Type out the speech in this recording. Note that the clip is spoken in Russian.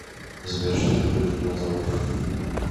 сбер что такое кинематограф